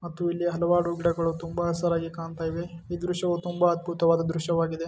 ಮತ್ತು ಇಲ್ಲಿ ಹಲವಾರು ಗಿಡಗಳು ತುಂಬಾ ಹಸಿರಾಗಿ ಕಾಣ್ತಾ ಇವೆ ಈ ದೃಶ್ಯವೂ ತುಂಬಾ ಅದ್ಭುತವಾದ ದೃಶ್ಯವಾಗಿದೆ.